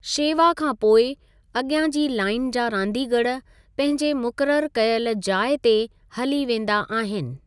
शेवा खां पोइ, अॻियां जी लाइन जा रांदिगर पंहिंजे मुक़ररु कयलु जाइ ते हली वेंदा आहिनि।